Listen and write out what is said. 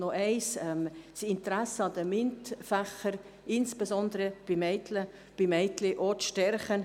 Es geht darum, das Interesse an den MINT-Fächern – insbesondere bei Mädchen – zu verstärken.